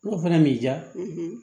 N'o fana m'i diya